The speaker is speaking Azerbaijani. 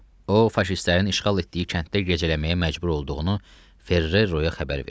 O, faşistlərin işğal etdiyi kənddə gecələməyə məcbur olduğunu Ferreroya xəbər verdi.